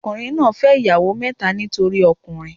Ọkùnrin náà fẹ́ ìyàwó kẹ́ta nítorí ọmọkùnrin.